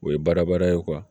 O ye baara bada ye